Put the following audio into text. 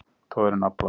Togar í naflann.